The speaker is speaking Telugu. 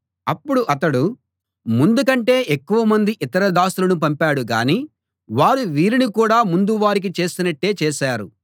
అప్పుడు అతడు ముందుకంటే ఎక్కువమంది ఇతర దాసులను పంపాడు కానీ వారు వీరిని కూడా ముందు వారికి చేసినట్టే చేశారు